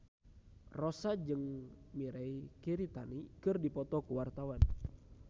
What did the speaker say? Rossa jeung Mirei Kiritani keur dipoto ku wartawan